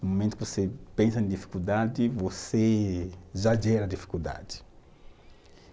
No momento que você pensa em dificuldade, você já gera dificuldade.